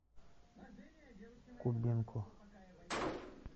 кубинку